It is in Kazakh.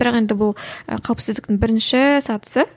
бірақ енді бұл і қауіпсіздіктің бірінші сатысы